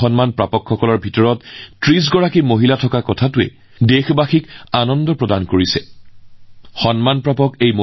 এই সন্মান লাভ কৰাসকলৰ ভিতৰত ৩০ গৰাকী মহিলাক নিৰ্বাচিত কৰাক লৈ দেশবাসীও সুখী হৈছে